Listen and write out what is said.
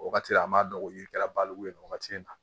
O wagati an b'a dɔn o yiri kɛra baliku ye nin wagati in na